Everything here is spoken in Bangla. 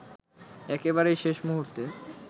একেবারেই শেষ মুহূর্তে